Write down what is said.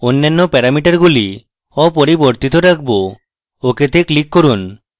অন্যান্য প্যারামিটারগুলি অপরিবর্তিত রাখব ok তে click করুন